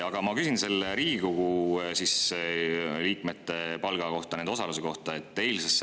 Aga ma küsin Riigikogu liikmete palga kohta, nende osalemise kohta.